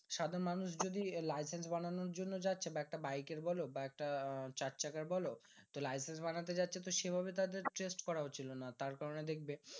সাধারণ মানুষ যদি licence বানানোর জন্য যাচ্ছে তো একটা বাইকের বোলো বা একটা চার চাকার বোলো। তো licence বানাতে যাচ্ছে তো সেভাবে তাদেরকে test করা হচ্ছিলো না। তার কারণে দেখবে